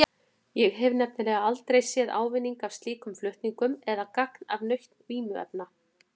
Ég hef nefnilega aldrei séð ávinning af slíkum flutningum eða gagn af nautn vímuefna.